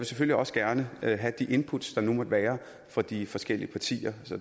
selvfølgelig også gerne have have de input der nu måtte være fra de forskellige partier